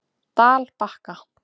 Dalbakka